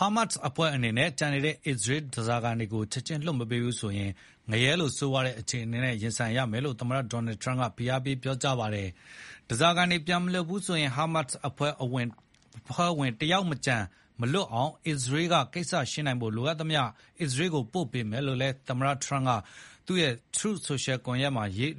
Hamas အဖွဲ့အနေနဲ့ ကျန်ရှိနေတဲ့ အစ္စရေးဓားစာခံတွေကို ချက်ခြင်းလွှတ်မပေးဘူးဆိုရင် ငရဲလို ဆိုးရွားတဲ့အခြေအနေနဲ့ ရင်ဆိုင်ရမယ်လို့ သမ္မတဒေါ်နယ်ထရမ့်က ပြောကြား ဖိအားပေးလိုက်ပါတယ်။ ဓားစာခံတွေ ပြန်မလွှတ်ရင် Hamas အဖွဲ့ဝင်တယောက်မကျန်မလွတ်အောင် အစ္စရေးကကိစ္စရှင်းနိုင်ဖို့ လိုအပ်သမျှ အစ္စရေးကိုပို့ပေးမယ်လို့ သမ္မတထရမ့်က Truth Social